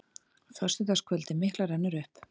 Föstudagskvöldið mikla rennur upp.